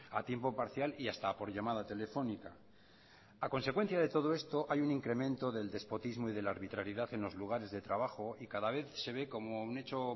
a tiempo parcial y hasta por llamada telefónica a consecuencia de todo esto hay un incremento del despotismo y de la arbitrariedad en los lugares de trabajo y cada vez se ve como un hecho